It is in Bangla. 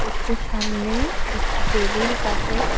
একটু সামনেই একটি টেবিল কাঁচের।